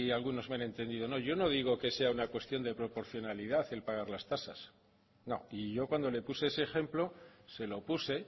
algunos me han entendido no yo no digo que sea una cuestión de proporcionalidad el pagar las tasas no y yo cuando le puse ese ejemplo se lo puse